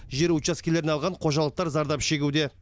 жер учаскелерін алған қожалықтар зардап шегуде